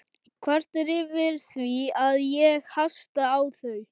Kvartar yfir því ef ég hasta á þau.